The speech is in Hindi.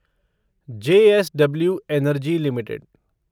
JSW energy limited